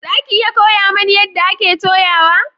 Za ki iya koya mani yadda ake toyawa?